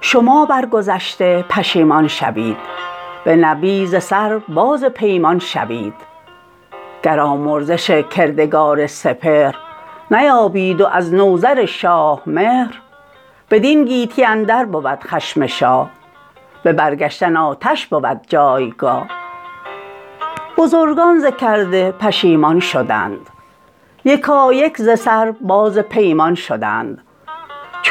چو سوگ پدر شاه نوذر بداشت ز کیوان کلاه کیی برفراشت به تخت منوچهر بر بار داد بخواند انجمن را و دینار داد برین برنیامد بسی روزگار که بیدادگر شد سر شهریار ز گیتی برآمد به هر جای غو جهان را کهن شد سر از شاه نو چو او رسمهای پدر درنوشت ابا موبدان و ردان تیز گشت همی مردمی نزد او خوار شد دلش برده گنج و دینار شد کدیور یکایک سپاهی شدند دلیران سزاوار شاهی شدند چو از روی کشور برآمد خروش جهانی سراسر برآمد به جوش بترسید بیدادگر شهریار فرستاد کس نزد سام سوار به سگسار مازندران بود سام فرستاد نوذر بر او بر پیام خداوند کیوان و بهرام و هور که هست آفریننده پیل و مور نه دشواری از چیز برترمنش نه آسانی از اندک اندر بوش همه با توانایی او یکیست اگر هست بسیار و گر اندکیست کنون از خداوند خورشید و ماه ثنا بر روان منوچهر شاه ابر سام یل باد چندان درود که آید همی ز ابر باران فرود مران پهلوان جهاندیده را سرافراز گرد پسندیده را همیشه دل و هوشش آباد باد روانش ز هر درد آزاد باد شناسد مگر پهلوان جهان سخنها هم از آشکار و نهان که تا شاه مژگان به هم برنهاد ز سام نریمان بسی کرد یاد همیدون مرا پشت گرمی بدوست که هم پهلوانست و هم شاه دوست نگهبان کشور به هنگام شاه ازویست رخشنده فرخ کلاه کنون پادشاهی پرآشوب گشت سخنها از اندازه اندر گذشت اگر برنگیرد وی آن گرز کین ازین تخت پردخته ماند زمین چو نامه بر سام نیرم رسید یکی باد سرد از جگر برکشید به شبگیر هنگام بانگ خروس برآمد خروشیدن بوق و کوس یکی لشکری راند از گرگسار که دریای سبز اندرو گشت خوار چو نزدیک ایران رسید آن سپاه پذیره شدندش بزرگان به راه پیاده همه پیش سام دلیر برفتند و گفتند هر گونه ویر ز بیدادی نوذر تاجور که بر خیره گم کرد راه پدر جهان گشت ویران ز کردار اوی غنوده شد آن بخت بیدار اوی بگردد همی از ره بخردی ازو دور شد فره ایزدی چه باشد اگر سام یل پهلوان نشیند برین تخت روشن روان جهان گردد آباد با داد او برویست ایران و بنیاد او که ما بنده باشیم و فرمان کنیم روانها به مهرش گروگان کنیم بدیشان چنین گفت سام سوار که این کی پسندد ز من کردگار که چون نوذری از نژاد کیان به تخت کیی بر کمر بر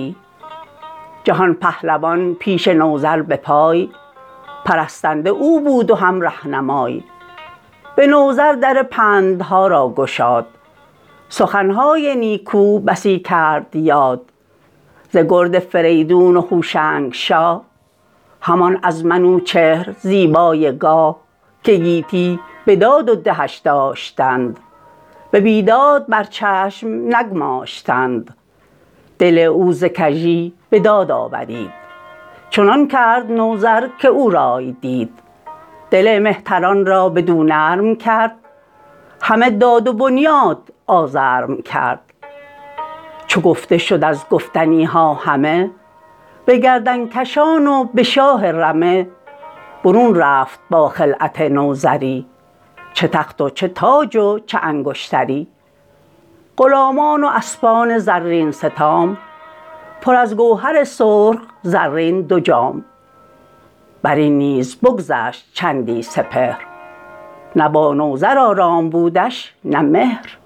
میان به شاهی مرا تاج باید بسود محالست و این کس نیارد شنود خود این گفت یارد کس اندر جهان چنین زهره دارد کس اندر نهان اگر دختری از منوچهر شاه بران تخت زرین شدی با کلاه نبودی جز از خاک بالین من بدو شاد بودی جهانبین من دلش گر ز راه پدر گشت باز برین بر نیامد زمانی دراز هنوز آهنی نیست زنگار خورد که رخشنده دشوار شایدش کرد من آن ایزدی فره باز آورم جهان را به مهرش نیاز آورم شما بر گذشته پشیمان شوید به نوی ز سر باز پیمان شوید گر آمرزش کردگار سپهر نیابید و از نوذر شاه مهر بدین گیتی اندر بود خشم شاه به برگشتن آتش بود جایگاه بزرگان ز کرده پشیمان شدند یکایک ز سر باز پیمان شدند چو آمد به درگاه سام سوار پذیره شدش نوذر شهریار به فرخ پی نامور پهلوان جهان سر به سر شد به نوی جوان به پوزش مهان پیش نوذر شدند به جان و به دل ویژه کهتر شدند برافروخت نوذر ز تخت مهی نشست اندر آرام با فرهی جهان پهلوان پیش نوذر به پای پرستنده او بود و هم رهنمای به نوذر در پندها را گشاد سخنهای نیکو بسی کرد یاد ز گرد فریدون و هوشنگ شاه همان از منوچهر زیبای گاه که گیتی بداد و دهش داشتند به بیداد بر چشم نگماشتند دل او ز کژی به داد آورید چنان کرد نوذر که او رای دید دل مهتران را بدو نرم کرد همه داد و بنیاد آزرم کرد چو گفته شد از گفتنیها همه به گردنکشان و به شاه رمه برون رفت با خلعت نوذری چه تخت و چه تاج و چه انگشتری غلامان و اسپان زرین ستام پر از گوهر سرخ زرین دو جام برین نیز بگذشت چندی سپهر نه با نوذر آرام بودش نه مهر